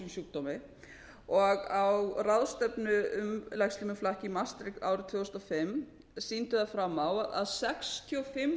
sjúkdómi og á ráðstefnu um legslímuflakk í mars árið tvö þúsund og fimm sýndu þau fram á að sextíu og fimm